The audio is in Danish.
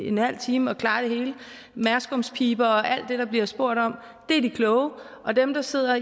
en halv time og klarer det hele merskumspiber og alt det der bliver spurgt om er de kloge og dem der sidder